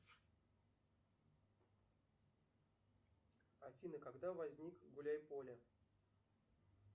афина когда возник гуляй поле